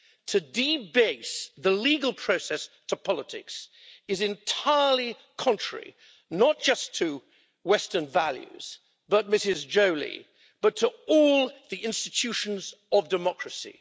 To debase the legal process to politics is entirely contrary not just to Western values but, Ms Joly, to all the institutions of democracy.